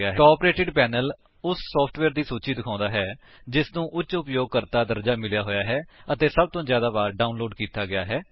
top rated panel ਉਸ software ਦੀ ਸੂਚੀ ਨੂੰ ਦਿਖਾਉਂਦਾ ਹੈ ਜਿਸਨੂੰ ਉੱਚ ਉਪਯੋਗਕਰਤਾ ਦਰਜਾ ਮਿਲਿਆ ਹੈ ਅਤੇ ਸਭ ਤੋਂ ਜਿਆਦਾ ਵਾਰ ਡਾਉਨਲੋਡ ਕੀਤਾ ਗਿਆ ਹੈ